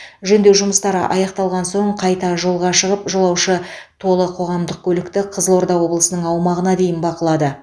жөндеу жұмыстары аяқталған соң қайта жолға шығып жолаушы толы қоғамдық көлікті қызылорда облысының аумағына дейін бақылады